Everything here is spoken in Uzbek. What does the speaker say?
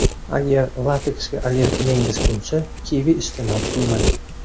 Agar lateksga allergiyangiz bo‘lsa, kivi iste’mol qilmang.